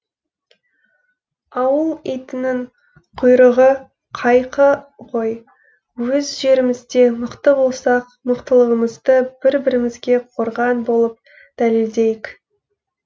ауыл итінің құйрығы қайқы ғой өз жерімізде мықты болсақ мықтылығымызды бір бірімізге қорған болып дәлелдейік